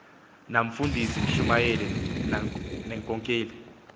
namfundisi mshumayeli nankokeli